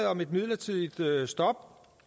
om et midlertidigt stop